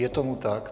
Je tomu tak.